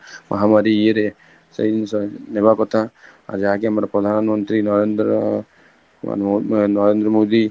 ମହାମାରୀ ୟେ ରେ ସେଇ ନେବା କଥା ଆଜି ଆଗେ ଆମ ପ୍ରଧାନ ମନ୍ତ୍ରୀ ନରେନ୍ଦ୍ର ନରେନ୍ଦ୍ର ମୋଦି